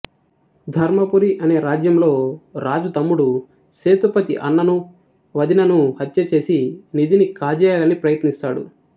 ధర్మపురి అనే రాజ్యంలో రాజు తమ్ముడు సేతుపతి అన్నను వదినను హత్యచేసి నిధిని కాజేయాలని ప్రయత్నిస్తాడు